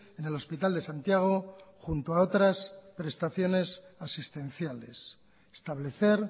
en el hospital de santiago junto a otras prestaciones asistenciales establecer